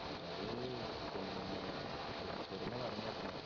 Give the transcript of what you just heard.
അവര് പിന്നെ ഒളിച്ചോടിന്ന പറയുന്നേ കേക്കുന്നെ